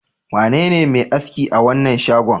Wanene mai aski a wannan shagon?